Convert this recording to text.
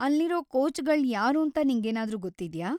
ಅಲ್ಲಿರೋ ಕೋಚ್‌ಗಳ್ ಯಾರೂಂತ ನಿಂಗೇನಾದ್ರೂ ಗೊತ್ತಿದ್ಯಾ?